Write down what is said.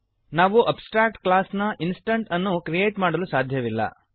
ನಾವು abstract class ನ instance ಅನ್ನು ಕ್ರಿಯೇಟ್ ಮಾಡಲು ಸಾಧ್ಯವಿಲ್ಲ